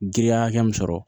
Giriya hakɛ min sɔrɔ